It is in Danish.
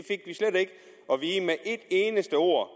eneste ord